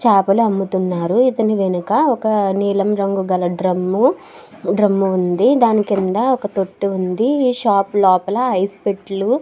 చాపల అమ్ముతున్నారు. ఇతని వెనుక ఒక నీలం రంగు గల డ్రమ్ము ఉంది. దాని కింద ఒక తొట్టి ఉంది. ఈ షాప్ లోపల ఐస్ పెట్టలు --